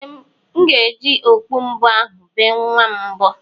Ee, m ga-eji okpu mbo ahụ bee nwa m mbo.